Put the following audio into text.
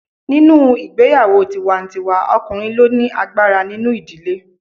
Nínú ìgbéyàwó tiwa-n-tiwa ọkùnrin ló ni agbára nínú ìdílé